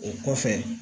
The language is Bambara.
O kɔfɛ